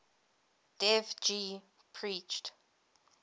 dev ji preached